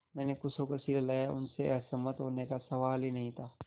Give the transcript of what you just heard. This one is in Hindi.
मैंने खुश होकर सिर हिलाया उनसे असहमत होने का सवाल ही नहीं था